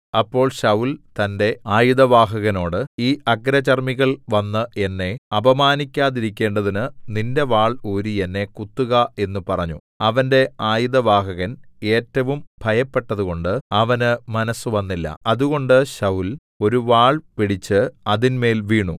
അപ്പോൾ ശൌല്‍ തന്റെ ആയുധവാഹകനോട് ഈ അഗ്രചർമ്മികൾ വന്ന് എന്നെ അപമാനിക്കാതിരിക്കേണ്ടതിന് നിന്റെ വാൾ ഊരി എന്നെ കുത്തുക എന്നു പറഞ്ഞു അവന്റെ ആയുധവാഹകൻ ഏറ്റവും ഭയപ്പെട്ടതുകൊണ്ടു അവന് മനസ്സുവന്നില്ല അതുകൊണ്ട് ശൌല്‍ ഒരു വാൾ പിടിച്ചു അതിന്മേൽ വീണു